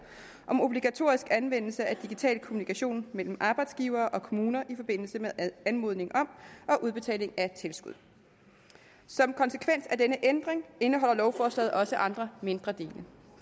om obligatorisk anvendelse af digital kommunikation mellem arbejdsgivere og kommuner i forbindelse med anmodning om og udbetaling af tilskud som konsekvens af denne ændring indeholder lovforslaget også andre mindre dele